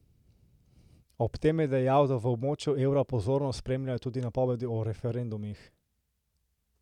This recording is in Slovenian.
Ob tem je dejal, da v območju evra pozorno spremljajo tudi napovedi o referendumih.